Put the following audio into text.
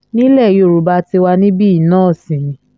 nílẹ̀ yorùbá tiwa níbí yìí náà sì ni